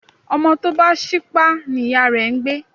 Ọmọ tọ bá sípá ní iyà rẹ́ ń gbẹ